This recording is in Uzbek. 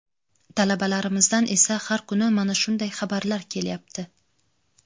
Talabalarimizdan esa har kuni mana shunday xabarlar kelyapti.